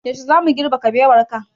Yaushe zamu girbe kabewar ka?